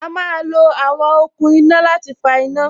A má lo àwọn okùn iná láti fa iná